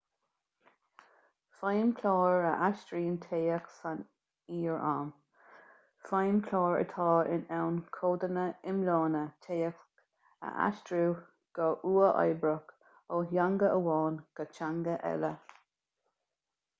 feidhmchláir a aistríonn téacs san fhíor-am feidhmchláir atá in ann codanna iomlána téacs a aistriú go huathoibríoch ó theanga amháin go teanga eile